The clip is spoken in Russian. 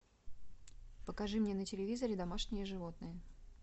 покажи мне на телевизоре домашние животные